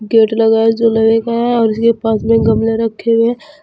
Gate लगा है जो लोहे का है और उसके पास में गमले रखें हुए हैं।